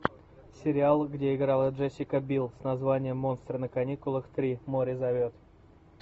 сериал где играла джессика билл с названием монстры на каникулах три море зовет